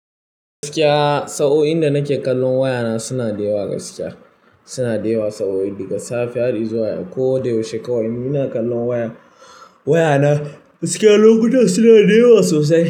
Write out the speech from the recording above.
Gakiya, Sa o'inda nake kallon wayana suna dewa ga sakiya. Suna dewa saboda daga safe har izuwa yau ko da yaushe kawai ina kallon waya- wayana. Gakiya lokutan suna dayawa sosai.